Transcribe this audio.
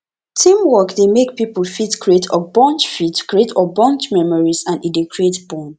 teamwork dey make pipo fit create fit create memories and e dey create bond